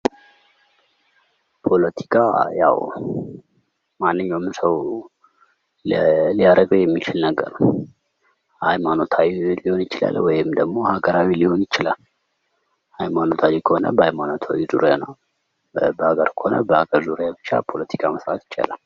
ፖለቲካ ያው ማንኛውም ሰው ሊያረገው የሚችል ነገር ነው:: ሃይማኖታዊ ሊሆን ይችላል ወይም ደግሞ ሃገራዊ ሊሆን ይችላል:: ሃይማኖታዊ ከሆነ በሃይማኖታዊ ዙሪያ ነው:: በሃገር ከሆነ በሀገር ዙሪያ ብቻ ፖለቲካ መስራት ይችላል::